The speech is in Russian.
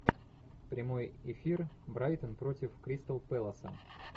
прямой эфир брайтон против кристал пэласа